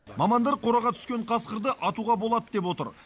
мамандар қораға түскен қасқырды атуға болады деп отыр